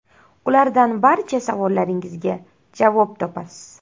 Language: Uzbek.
Ulardan barcha savollaringizga javob topasiz.